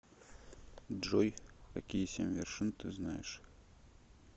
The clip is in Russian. джой какие семь вершин ты знаешь